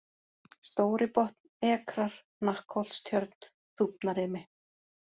Stóribotn, Ekrar, Hnakksholtstjörn, Þúfnarimi